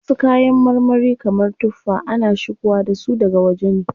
Wasu kayan marmari kamar tuffa, ana shigowa dasu daga waje ne.